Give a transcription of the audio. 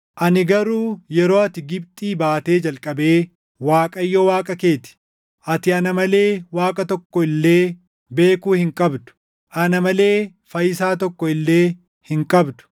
“Ani garuu yeroo ati Gibxii baatee jalqabee Waaqayyo Waaqa kee ti. Ati ana malee Waaqa tokko illee beekuu hin qabdu; ana malee fayyisaa tokko illee hin qabdu.